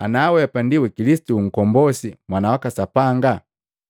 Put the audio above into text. anaweapa ndi wa Kilisitu Nkombosi Mwana waka Sapanga!”